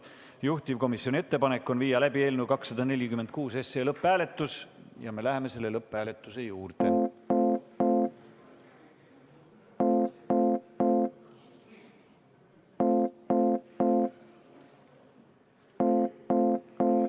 Juhtivkomisjoni ettepanek on viia läbi eelnõu 246 lõpphääletus ja me läheme lõpphääletuse juurde.